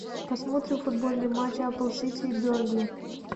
посмотрим футбольный матч апл сити и бернли